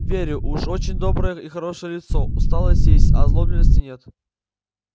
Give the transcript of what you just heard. верю уж очень доброе и хорошее лицо усталость есть а озлобленности нет